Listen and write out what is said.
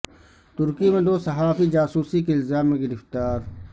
ترکی میں دو صحافی جاسوسی کے الزام میں گرفتار